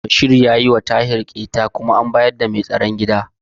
Bashir ya yiwa Tahir ƙyeta kuma an bayar da bugun daga kai sai mai tsaron gida.